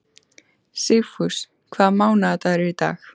Sigfús, hvaða mánaðardagur er í dag?